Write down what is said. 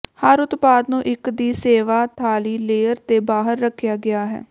ਹਰ ਉਤਪਾਦ ਨੂੰ ਇੱਕ ਦੀ ਸੇਵਾ ਥਾਲੀ ਲੇਅਰ ਤੇ ਬਾਹਰ ਰੱਖਿਆ ਗਿਆ ਹੈ